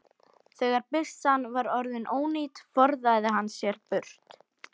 Þegar byssan var orðin ónýt forðaði hann sér burt.